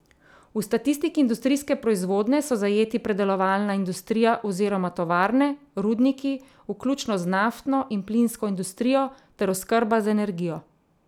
V statistiki industrijske proizvodnje so zajeti predelovalna industrija oziroma tovarne, rudniki vključno z naftno in plinsko industrijo ter oskrba z energijo.